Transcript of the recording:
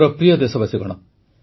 ମୋର ପ୍ରିୟ ଦେଶବାସୀଗଣ